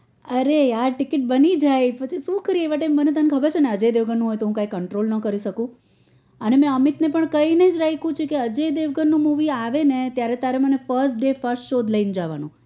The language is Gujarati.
અરે યાર ટીકિટ બની જાય પછી તને ખબર છે ને અજય દેવગન નું હોય તેયેવ હું control ના કરી સકું અને મેં અમિત ને કહીજ રાખ્યું સે અજય દેવગન નું movie આવે ત્યારે તારે મને first day first show લઇ જવાનું